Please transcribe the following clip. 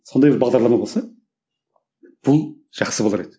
сондай бір бағдарлама болса бұл жақсы болар еді